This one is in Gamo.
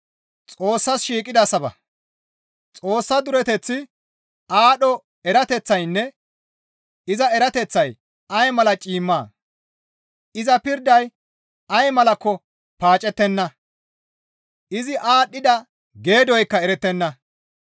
Xoossa dureteththi, aadho erateththaynne iza erateththay ay mala ciimmaa! Iza pirday ay malakko paacettenna; izi aadhdhida geedoykka erettenna.